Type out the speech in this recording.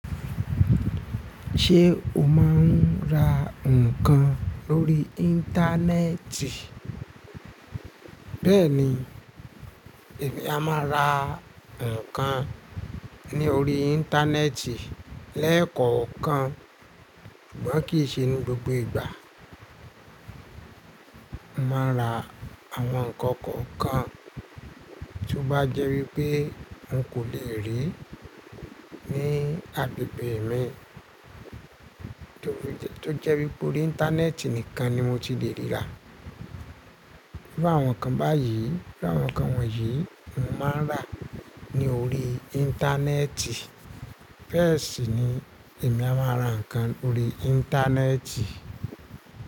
Ṣé o máa ń ra nǹkan lórí Íńtánẹ́ẹ̀tì? Bẹ́ẹ̀ni, èmi a máa ra nǹkan ní orí Íńtánẹ́ẹ̀tì lẹ́ẹ̀kọ̀ọ̀kan, ṣùgbọ́n kì í ṣe ní gbogbo ìgbà. Mo máa ń ra àwọn nǹkan kọ̀ọ̀kan tí ó bá jẹ́ wípé n kò lè rí ní agbègbè mi, tó jẹ́ wípé orí Íńtánẹ́ẹ̀tì nìkan ni mo ti le ríra. Bí àwọn kan báyìí, bí àwọn kan wọ̀nyí, mo máa ń rà ní orí Íńtánẹ́ẹ̀tì. Bẹ́ẹ̀ sì ni èmi a máa ra nǹkan lórí Íńtánẹ́ẹ̀tì.